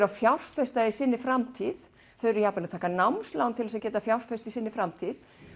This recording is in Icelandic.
að fjárfesta í sinni framtíð þau eru jafnvel að taka námslán til að geta fjárfest í sinni framtíð